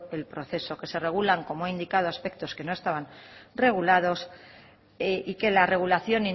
el proceso que se regulan como he indicado aspectos que no estaban regulados y que la regulación